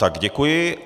Tak, děkuji.